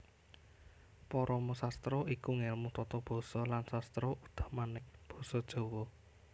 Paramasastra iku ngèlmu tata basa lan sastra utamané basa Jawa